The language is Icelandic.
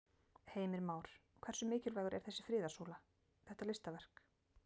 Heimir Már: Hversu mikilvægur er þessi friðarsúla, þetta listaverk?